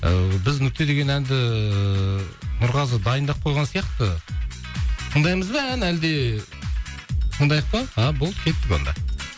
ыыы біз нүкте деген әнді нұрғазы дайындап қойған сияқты тыңдаймыз ба ән әлде тыңдайық па а болды кеттік онда